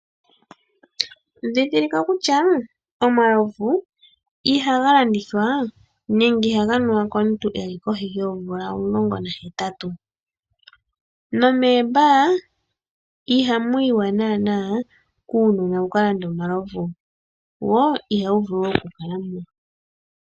Ndhindhilika kutya omalovu ihaga landithathwa nenge ihaga nuwa komuntu eli kohi yoomvula omulongo nahetatu, nomeebar iha mu yiwa naana kuunona wu ka lande omalovu wo ihawu vulu oku kala mo.